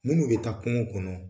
Minnu bɛ taa kungo kɔnɔ